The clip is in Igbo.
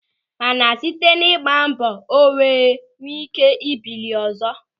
Mana site n'ịgba mbọ o wee nwee ị́ké bilie ọzọ.